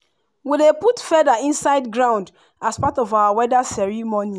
we dey put feather inside ground as part of our weather ceremony.